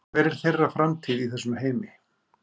Hver er þeirra framtíð í þessum heimi?